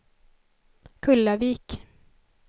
Kullavik